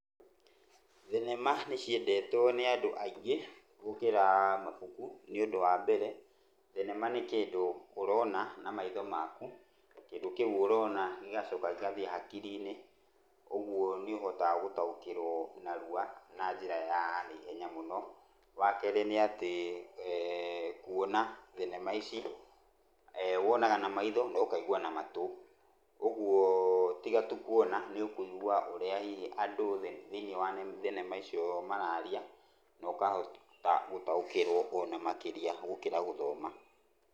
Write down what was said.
Thenema nĩ ciendetwo nĩ andũ aingĩ gũkĩra mabuku. Nĩ ũndũ wa mbere, thenema nĩ kĩndũ ũrona na maitho maku, na kĩndũ kĩu ũrona gĩgacoka gĩgathiĩ hakiri-inĩ, ũguo nĩ ũhotaga gũtaĩkĩrwo narua na njĩra ya na ihenya mũno. Wakerĩ nĩ atĩ, kuona thenema ici, wonaga na maitho na ũkaigua na matũ, ũguo tiga tu kuona nĩ ũkũigua ũrĩa hihi andũ thĩinĩ wa thenema icio mararia, na ũkahota gũtaũkĩrwo ona makĩria gũkĩra gũthoma.